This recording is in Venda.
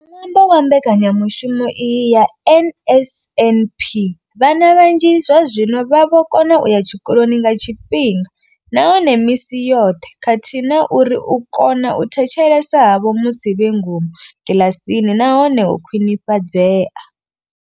Nga ṅwambo wa mbekanyamushumo iyi ya NSNP, vhana vhanzhi zwazwino vha vho kona u ya tshikoloni nga tshifhinga nahone misi yoṱhe khathihi na uri u kona u thetshelesa havho musi vhe ngomu kiḽasini na hone ho khwinifhadzea.